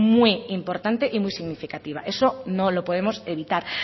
muy importante y muy significativa eso no lo podemos evitar